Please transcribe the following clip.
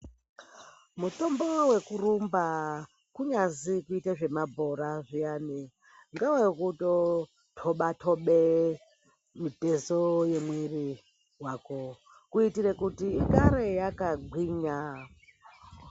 Mutombo wekurumba kunyazi kuita zvemabhora zviyani ndewekutoba tobe mitezo yemuviri wako zviyanai kuitira kuti ugare wakagwinya.